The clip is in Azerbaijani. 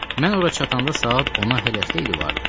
Mən ora çatanda saat 10-a hələ xeyli vardı.